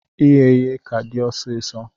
Ighe ihe ka di ọsisọ.